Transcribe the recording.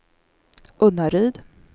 Unnaryd